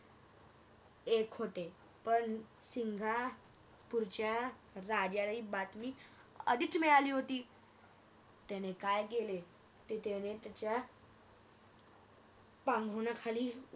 एक होते पण सिंगापुरच्या राजाला ही बातमी आधीच मिळाली होती त्याने काय केले त्याने त्याच्या पांगहुरनाखाली